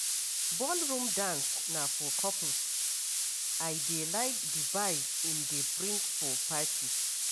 Ballroom dance na for couples, I dey like di vibe im dey bring for party.